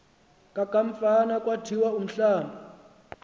kokamfama kwathiwa umhlamb